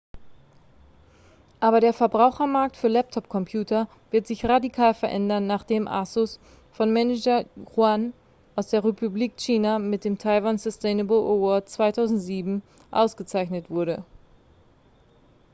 aber der verbrauchermarkt für laptop-computer wird sich radikal verändern nachdem asus von manager yuan aus der republik china mit dem taiwan sustainable award 2007 ausgezeichnet wurde